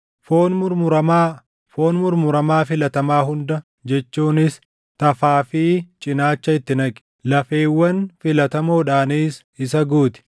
Foon murmuramaa, foon murmuramaa filatamaa hunda jechuunis tafaa fi cinaacha itti naqi. Lafeewwan filatamoodhaanis isa guuti;